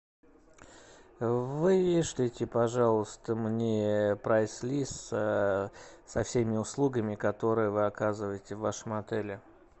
вышлите пожалуйста мне прайс лист со всеми услугами которые вы оказываете в вашем отеле